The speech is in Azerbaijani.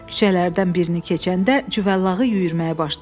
Küçələrdən birini keçəndə cüvəllağı yüyürməyə başladı.